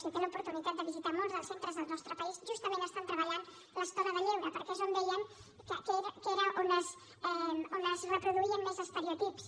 si té l’oportunitat de visitar molts dels centres del nostre país justament estan treballant l’estona de lleure perquè és on veien que era on es reproduïen més estereotips